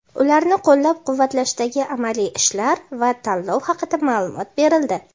ularni qo‘llab-quvvatlashdagi amaliy ishlar va tanlov haqida ma’lumot berildi.